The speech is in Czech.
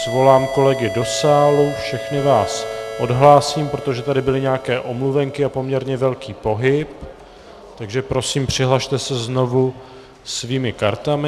Svolám kolegy do sálu, všechny vás odhlásím, protože tady byly nějaké omluvenky a poměrně velký pohyb, takže prosím, přihlaste se znovu svými kartami.